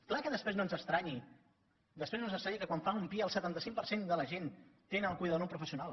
clar que després no ens estranyi després no ens estranyi que quan fan un pia el setanta cinc per cent de la gent tenen el cuidador no professional